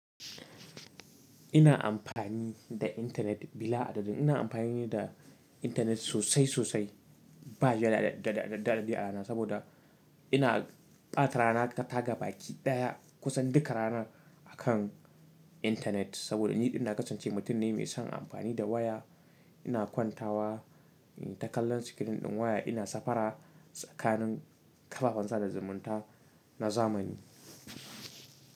Ina amfani da intanet bila adadin. Ina amfani da intanet sosai, sosai. Ba ya daɗaɗa da dadi a rana saboda ina ɓata rana ta gaba ki daya kusan duka ranar akan intanet. Saboda ni idan na kasance mutum ne mai son amfani da waya, ina kwantawa in ta kallan sikirin ɗin waya, ina safara tsakanin ƙafafen sada zumunta na zamani.